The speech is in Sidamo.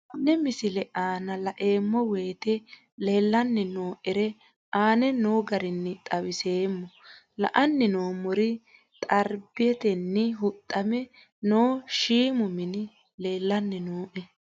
Tenne misile aana laeemmo woyte leelanni noo'ere aane noo garinni xawiseemmo. La'anni noomorri xaribetenni huxxamme noo shiimu minni leelanni nooe.